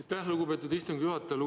Aitäh, lugupeetud istungi juhataja!